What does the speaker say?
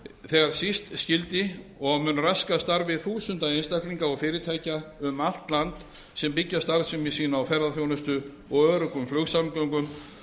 þegar síst skyldi og mun raska starfi þúsunda einstaklinga of fyrirtækja um allt land sem byggja starfsemi sína á ferðaþjónustu og öruggum flugsamgöngum